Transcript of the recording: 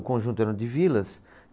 O conjunto eram de vilas.